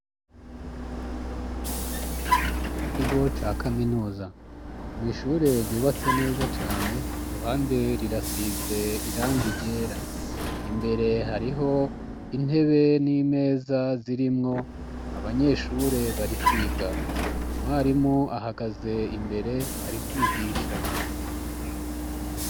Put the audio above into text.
Mu kigo ca kaminuza mw' ishure ryubatse neza cane ku ruhande rirasiz' irang' iryera, imbere harih' intebe n'imeza zirimw' abanyeshure bari kwiga, umwarim' ahagaz'imbere n' abandi banyeshure bar' iruhande yiwe, har' amadirish' arik' igitambara gikingir' izuba cank' umuco mwinshi, hejuru har' icuma gitang' umuyag'iyo hashushe.